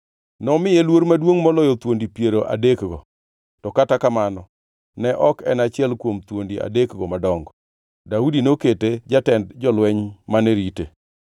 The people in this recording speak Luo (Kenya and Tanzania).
Nomiye luor maduongʼ moloyo thuondi piero adekgo, to kata kamano ne ok en achiel kuom thuondi adekgo madongo. Daudi nokete jatend jolweny mane rite.